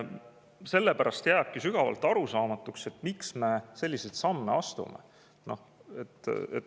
Sellepärast jääbki sügavalt arusaamatuks, miks me selliseid samme astume.